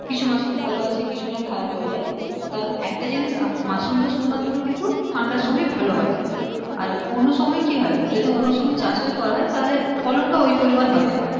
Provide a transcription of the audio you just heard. কিছু মাশরুম ভালো আছে কিছুটা খারাপ হয়ে যায় কারণ একটা জিনিস মাশরুম তা শুধু মাত্র ঠান্ডার সময়ে ভালো হয় আর অন্য সময়ে কি হয় যদি অন্য সময়ে চাষ টা করা হয় ফলন টা ওই পরিমানে হয়না